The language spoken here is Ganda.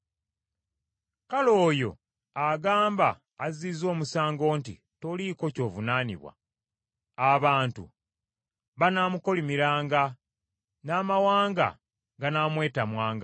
Kale oyo agamba azizza omusango nti, “Toliiko ky’ovunaanibwa,” abantu banaamukolimiranga, n’amawanga ganaamwetamwanga.